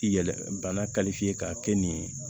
Yɛlɛ bana kalifiyɛ ka kɛ nin ye